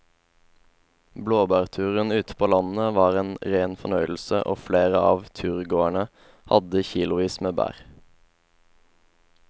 Blåbærturen ute på landet var en rein fornøyelse og flere av turgåerene hadde kilosvis med bær.